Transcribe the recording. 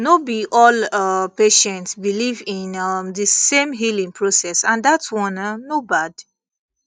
no be all um patients believe in um the same healing process and that one um no bad